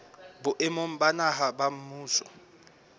boemong ba naha ba mmuso